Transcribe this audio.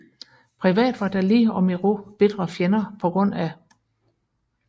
Privat var Dalí og Miró bitre fjender pga